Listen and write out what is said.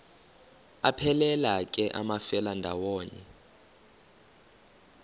aphelela ke amafelandawonye